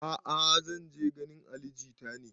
A'a zan je ganin ali jita ne